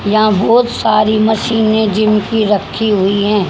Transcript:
यहां बहोत सारी मशीने जिम की रखी हुई हैं।